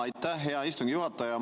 Aitäh, hea istungi juhataja!